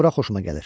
Bura xoşuma gəlir.